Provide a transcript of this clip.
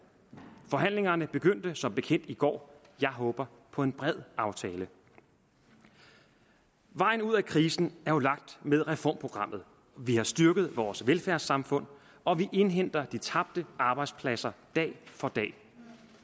forhandlingerne begyndte som bekendt i går og jeg håber på en bred aftale vejen ud af krisen er jo lagt med reformprogrammet vi har styrket vores velfærdssamfund og vi indhenter de tabte arbejdspladser dag for dag